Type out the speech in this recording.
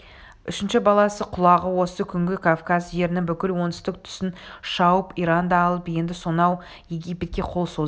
үшінші баласы құлағу осы күнгі кавказ жерінің бүкіл оңтүстік тұсын шауып иранды алып енді сонау египетке қол соза